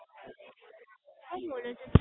શું બોલે છે?